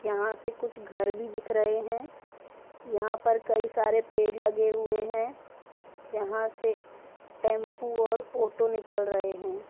यहा से कुछ घर भी दिख रहे है | यहा पर कई सारे पेड़ लगे हुए है | यहा से टेम्पू और ओटो निकल रहे है |